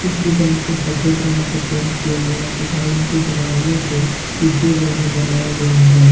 इस दुकान को सफेद रंग से पेंट किया गया है तथा इनके दरवाजों को शीशे द्वारा बनाया गया है।